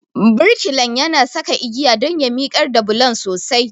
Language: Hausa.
Birkilan yana saka igiya don ya miƙar da bulon sosai.